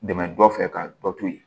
Dɛmɛ dɔ fɛ ka dɔ to yen